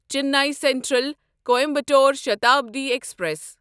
Chennai central Coimbatore Shatabdi express